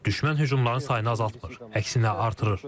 Düşmən hücumların sayını azaltmır, əksinə artırır.